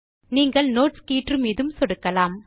நீங்கள் நோட்ஸ் கீற்று மீதும் சொடுக்கலாம்